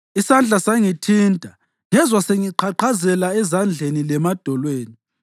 Isandla sangithinta ngezwa sengiqhaqhazela ezandleni lemadolweni.